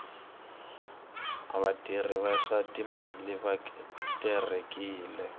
vatirhi va swa timali va terekile